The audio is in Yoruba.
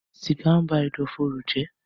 sìgá ń ba ẹ̀dọ̀fóró jẹ́